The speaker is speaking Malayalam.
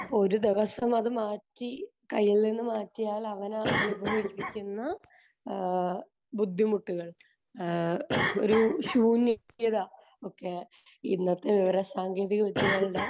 ഇപ്പോൾ ഒരു ദിവസം അത് മാറ്റി കയ്യിൽ നിന്ന് മാറ്റിയാൽ അവന് അനുഭവിപ്പിക്കുന്ന ഏഹ് ബുദ്ധിമുട്ടുകൾ ഒരു ശൂന്യത ഒക്കെ ഇന്നത്തെ വിവരസാങ്കേതികവിദ്യകളുടെ